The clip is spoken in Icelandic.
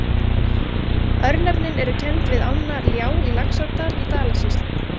Örnefnin eru kennd við ána Ljá í Laxárdal í Dalasýslu.